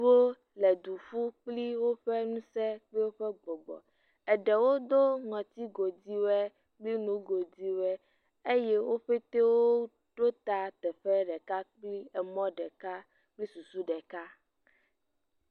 Wole du ƒum kpli woƒe ŋusẽ kpli woƒe gbɔgbɔ, eɖewo do ŋɔti goduiwɔe kpli nugoduiwɔe. Wo katã woɖo ta teƒe ɖeka kpli emɔ ɖeka kpli susu ɖeka.